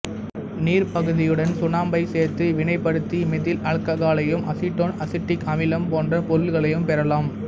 நீர்ப்பகுதியுடன் சுண்ணாம்பைச் சேர்த்து வினைப்படுத்தி மெதில் ஆல்கஹாலையும் அசிட்டோன் அசிட்டிக் அமிலம் போன்ற பொருள்களையும் பெறலாம்